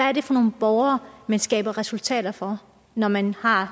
er det for nogle borgere man skaber resultater for når man har